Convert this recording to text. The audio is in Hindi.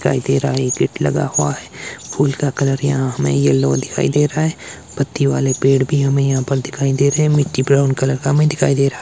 दिखाई दे रहा है एक गेट लगा हुआ है फूल का कलर यहां हमें यल्लो दिखाई दे रहा है पत्तियो वाले पेड़ भी हमें यहा पर दिखाई दे रहे है मिट्टी ब्राउन कलर का हमें दिखाई दे रहा --